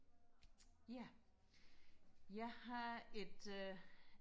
ja jeg har et øh